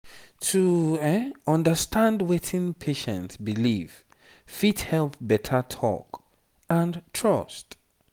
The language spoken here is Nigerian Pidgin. to understand wetin patient believe fit help better talk and trust.